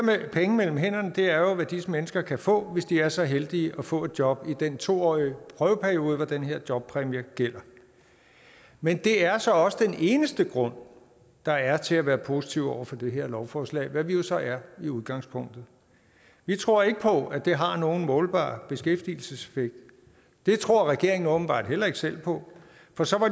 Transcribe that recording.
penge mellem hænderne er jo hvad disse mennesker kan få hvis de er så heldige at få et job i den to årige prøveperiode hvor den her jobpræmie gælder men det er så også den eneste grund der er til at være positiv over for det her lovforslag hvad vi jo så er i udgangspunktet vi tror ikke på at det har nogen målbar beskæftigelseseffekt det tror regeringen åbenbart heller ikke selv på for så